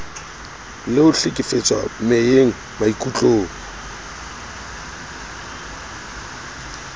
le ho hlekefetswa meyeng maikutlong